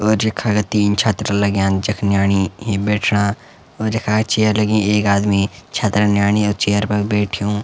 और यखा का तीन छत्रा लग्याँ जख न्याणी ही बैठना और यखा चेयर लगीं एक आदमी छत्रा नियाणी अर चेयर पर बैठ्युं।